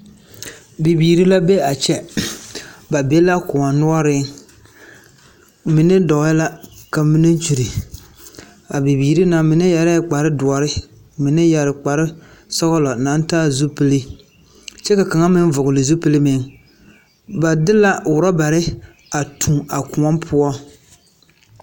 Bibiiri la be a kyɛ. Ba be la lkõɔ noɔreŋ. Mine dɔɔɛ la ka mine kyuri. Abibiiri na , mine yɛrɛɛ kpare doɔre, mine yɛre kpare sɔgelɔ naŋ taa zupile kyɛ ka kaŋa meŋ vɔgele zupili meŋ ba de la orɔbare a tuo kõɔ poɔ.